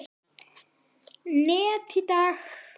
net í dag?